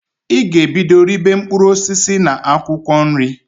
I g'ebido ribe mpkụrụ osisi na akwụkọ nri!